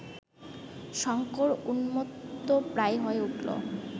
শঙ্কর উন্মত্তপ্রায় হয়ে উঠল